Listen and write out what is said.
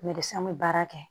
an bɛ baara kɛ